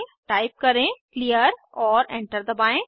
type करें clear और enter दबाएं